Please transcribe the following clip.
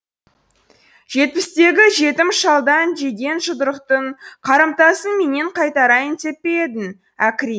жетпістегі жетім шалдан жеген жұдырықтың қарымтасын менен қайтарайын деп пе едің әкри